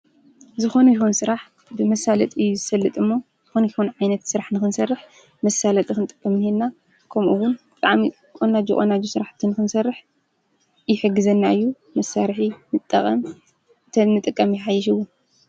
ዝኾኑ ይኹን ሥራሕ ብመሣለጥ እዩ ዝሰልጥ ሞ ኾኑ ይኹን ዓይነት ሥራሕ ንክንሠርሕ መሳለጥ ኽንጠበምንየንና ከምኡውን ብዓሚቆናጅቐናዙ ሥራሕ ትንክንሠርሕ ይሕግዘናዩ መሣርሒ ምጠቐም ተንጥቀም ይሓይሽውን